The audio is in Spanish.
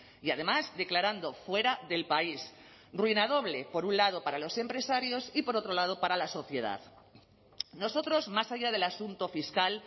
y además declarando fuera del país ruina doble por un lado para los empresarios y por otro lado para la sociedad nosotros más allá del asunto fiscal